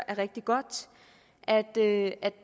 er rigtig godt at at